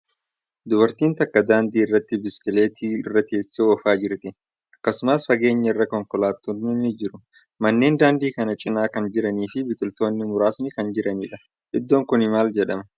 Dubartiin takka daandii irratti biskileetii irra teessee oofaa jirti. Akkasumas, fageenya irraa konkolaattotni ni jiru. Manneen daandii kana cinaa kan jiranii fi biqiltootni muraasni kan jiraniidha. Iddoon kuni maal jedhama?